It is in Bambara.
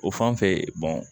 O fan fɛ